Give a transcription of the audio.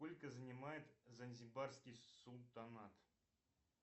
сколько занимает занзибарский султанат